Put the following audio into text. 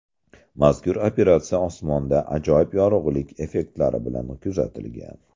Mazkur operatsiya osmonda ajoyib yorug‘lik effektlari bilan kuzatilgan.